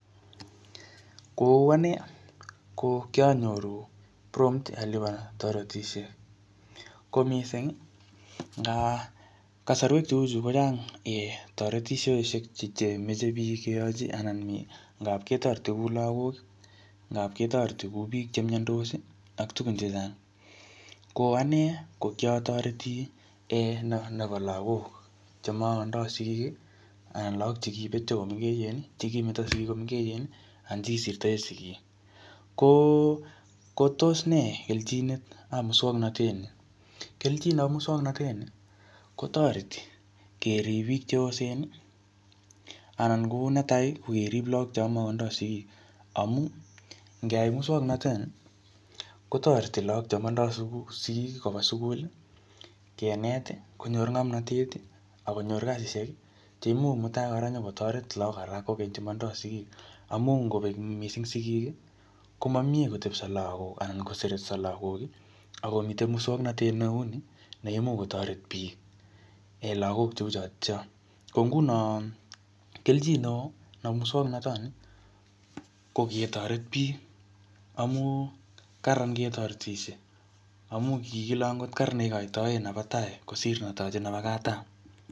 Kou ane, ko kianyoru prompt alipan toretisiet. Ko missing, nga kasarwek cheuchu kochang um toretisioshek chemeche biik keyachi anan ngapketoreti ku lagok, ngapketoreti kou biik che miandos, ak tugun chechang. Ko ane, ko kiatoreti um ne-nebo lagok, che makotindoi sidik, anan lagok chekibetio komengechen, chekimeto sigik komengechen, anan che kisirtoe sigik. Ko kotos nee keljinetap muswaganatet ni. Keljionoik ap muswagnatet ni, kotereti kerip biik cheosen, anan kou netai, ko kerip lagok chamakotindoi sigik. Amu ngeyai muswagnatet ni, kotoreti lagok cho matindoi sigik, koba sukul. Kenet, konyor ngomnatet, akonyor kasishek, cheimuch mutai kora nyikotoret lagokap lagok alak kokenye che matindoi sigik. Amu ngobek missing sigik, koamie kotepso lagok anan kosertso lagok, akomite muswagnatet neu nii neimuch kotoret biik um lagok cheu chotocho. Ko nguno, keljin neoo nebo muswagnatat ni, ko ketoret biiik. Amu kararan ketoretisie. Amu kikile angot kararan neikotoie nebo tai, kosir netaje nebo katam.